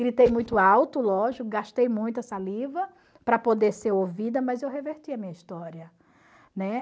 Gritei muito alto, lógico, gastei muita saliva para poder ser ouvida, mas eu reverti a minha história, né?